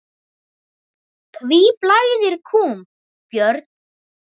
Hví blæðir kúm, Björn?